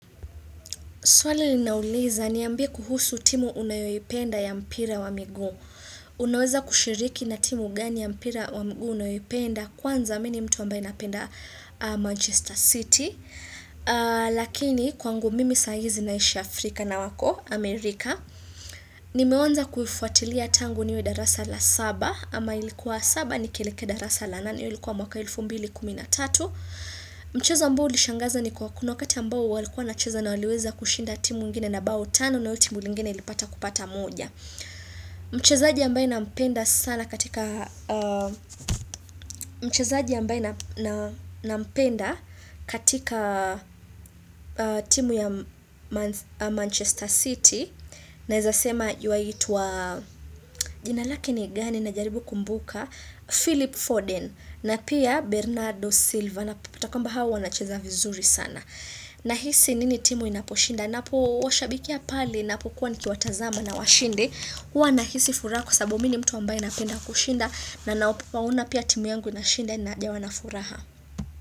Swali linauliza niambie kuhusu timu unayoipenda ya mpira wa miguu. Unaweza kushiriki na timu gani ya mpira wa migu unayoipenda kwanza mini mtu ambae napenda Manchester City. Lakini kwangu mimi saizi naishi Afrika na wako, Amerika. Nimeonja kuifuatilia tangu niwe darasa la saba ama ilikuwa saba ni kielekea darasa la nani hio ilikuwa mwaka elfu mbili kumina tatu. Mchezo ambao ulishangaza ni kwa kuna wakati ambao walikuwa na cheza na waliweza kushinda timu ingine na baotano na hio timu lingine ilipata kupata moja Mchezaji ambaye na mpenda sana katika mchezaji ambaye nam nam nampenda katika timu ya mans Manchester City Naeza sema yuaitwa jinalake ni gani na jaribu kumbuka Philip Forden na pia Bernardo Silva Anaputakamba hawa wanacheza vizuri sana Nahisi nini timu inaposhinda Napo washabikia pale Napo kuwa niki watazama na washinde Uwa nahisi furako sabu mini mtu ambaye napenda kushinda na naopo wauna pia timu yangu inashinda na jawana furaha.